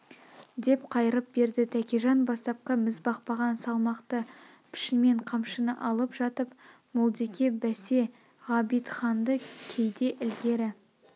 деп қайырып берді тәкежан бастапқы мізбақпаған салмақты пішнмен қамшыны алып жатып молдеке бәсе ғабитханды кейде ілгері